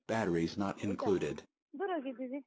ಹೌದಾ? ದೂರ ಹೋಗಿದ್ದೀರಿ?